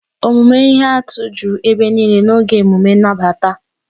Omume ihe atụ juru ebe niile n'oge emume nnabata.